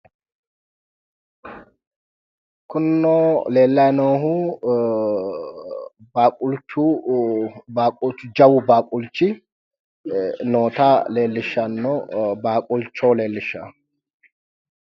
Kunino leellayi noohu baaqulchu jawu baaqulchu noota leellishanno.